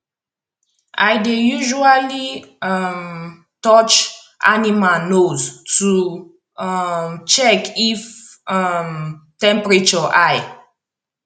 i dey usually um touch animal nose to um check if um temperature high